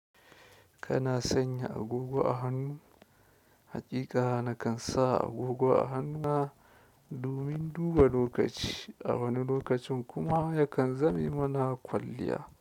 Kana sanya agogo a hannu? Haƙiƙa na kan sa agogo a hannuna domin duba lokaci. A wani lokacin kuma ya kan zame mana kwalliya.